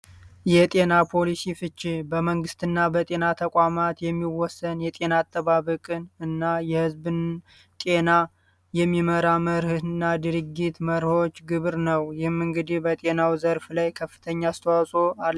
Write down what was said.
የጤና ፖሊሲ ፍቼ በመንግስትና በጤና ተቋማት የሚወሰን የጤና አጠባበቅን እና የህዝብን ጤና የሚመራ መርህ እና ድርጊት መርሆች ግብር ነው የመንግዴ በጤናው ዘርፍ ላይ ከፍተኛ አስተዋጾ